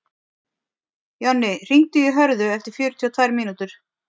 Jonni, hringdu í Hörðu eftir fjörutíu og tvær mínútur.